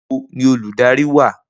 Nibo ni oludari wa?